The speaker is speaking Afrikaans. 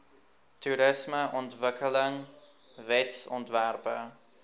toerismeontwikkelingwetsontwerpe